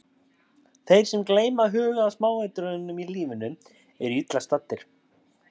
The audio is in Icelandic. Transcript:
Ég skammaðist mín ofboðslega en gat samt ekki hætt að hugsa um litlu konuna.